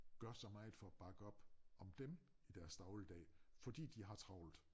Gør så meget for at bakke op om dem i deres dagligdag fordi de har travlt